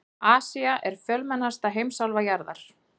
Asía er fjölmennasta heimsálfa jarðar.